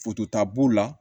b'u la